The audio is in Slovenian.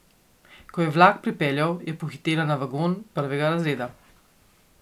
Ko je vlak pripeljal, je pohitela na vagon prvega razreda.